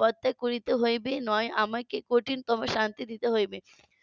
পর্দা করিতে হইবে নয় আমাকে কঠিনতম শান্তি দিতে হইবে